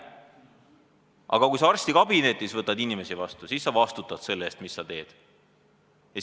Aga kui sa arstikabinetis võtad inimesi vastu, siis sa vastutad selle eest, mis sa teed.